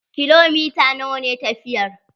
Kilomita nawa ne tafiyar?